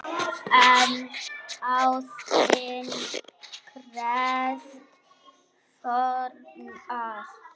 En ástin krefst fórna!